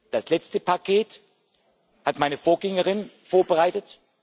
Das letzte Paket hat meine Vorgängerin vorbereitet.